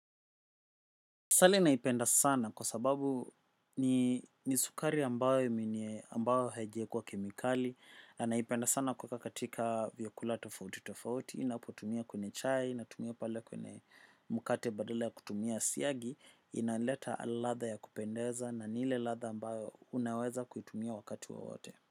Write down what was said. Asali naipenda sana kwa sababu ni sukari ambayo ambayo haijaekwa kemikali. Na naipenda sana kuweka katika vyakula tofauti tofauti ninapoitumia kwenye chai, naitumia pale kwenye mkate badala ya kutumia siyagi. Inaleta ladha ya kupendeza na ni ile ladha ambayo unaweza kuitumia wakati wa wowote.